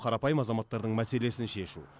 қарапайым азаматтардың мәселесін шешу